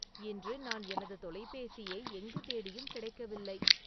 இன்று நான் எனது தொலைபேசியை எங்கு தேடியும் கிடைக்கவில்லை